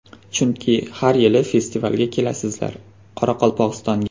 Chunki har yili festivalga kelasizlar Qoraqalpog‘istonga.